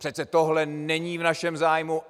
Přece tohle není v našem zájmu.